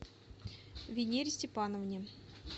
венере степановне